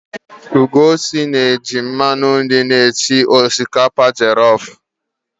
Ugochi na-eji mmanụ nri esi osikapa jọlọf.